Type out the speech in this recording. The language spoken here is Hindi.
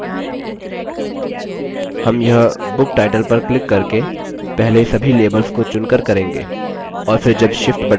हम यह book title पर क्लिक करके पहले सभी labels को चुनकर करेंगे